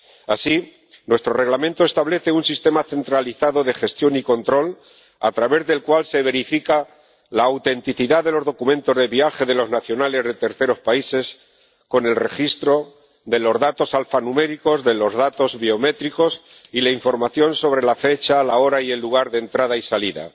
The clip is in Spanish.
Así, nuestro Reglamento establece un sistema centralizado de gestión y control, a través del cual se verifica la autenticidad de los documentos de viaje de los nacionales de terceros países con el registro de los datos alfanuméricos, de los datos biométricos y la información sobre la fecha, la hora y el lugar de entrada y salida.